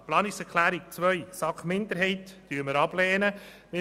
Zu Planungserklärung 2 der SAK-Minderheit: Diese lehnen wir ab.